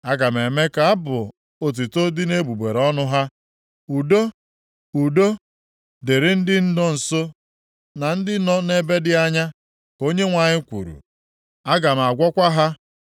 Aga m eme ka abụ otuto dị nʼegbugbere ọnụ ha. Udo, udo, dịrị ndị nọ nso na ndị nọ nʼebe dị anya,” ka Onyenwe anyị kwuru. “Aga m agwọkwa ha.”